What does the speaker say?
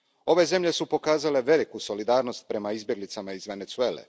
Ove zemlje su pokazale veliku solidarnost prema izbjeglicama iz Venezuele.